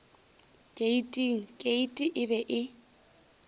keiting keiti e be e